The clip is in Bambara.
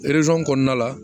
kɔnɔna la